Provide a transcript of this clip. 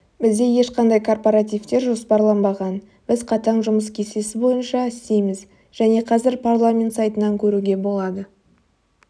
бізде ешқандай корпаративтер жоспарланбаған біз қатаң жұмыс кестесі бойынша істейміз және қазір парламент сайтынан көруге болады